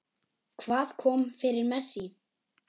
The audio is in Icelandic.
Hvað kom fyrir Messi?